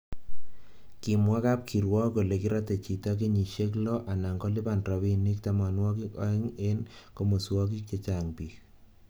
kimwa kab kirwok kole kiratei chito kenyishe lo anan kolipan robinik tamanwakik aeng eng kimoswokik chechang bik